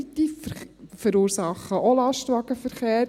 Diese verursachen auch Lastwagenverkehr.